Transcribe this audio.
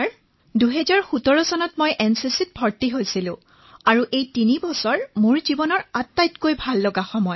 তৰন্নুম খানঃ মহাশয় মই এনচিচিত ২০১৭ চনত ভৰ্তি হৈছিলো আৰু এই তিনি বছৰ মোৰ জীৱনৰ আটাইতকৈ উৎকৃষ্ট সময়